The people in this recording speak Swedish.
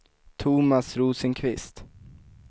Thomas Rosenqvist